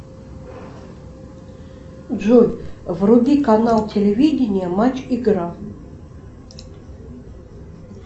джой вруби канал телевидения матч игра